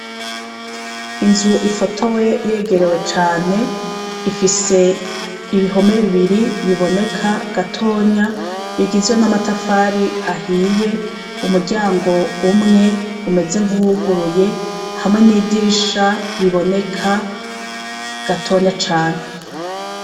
Inzu ifoto we yegerewe cane ifise ibihome bibiri biboneka gatonya bigizwe n'amatafari ahiye umuryango umwe umeze nk'uwuguruye hamwe n'idirisha riboneka gatonya cane.